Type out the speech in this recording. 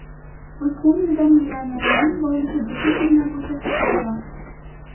O‘tgan yilda millionerlarning boyligi butun dunyo bo‘yicha ko‘paygan.